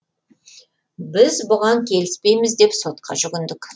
біз бұған келіспейміз деп сотқа жүгіндік